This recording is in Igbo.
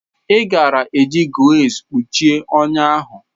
Ị gaara eji gauze kpuchie ọnya ahụ.